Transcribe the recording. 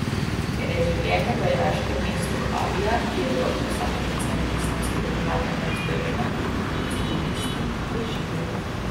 Ker je življenje v iraškem mestu Havija, ki je v rokah samooklicane Islamske države, nevzdržno, civilisti bežijo.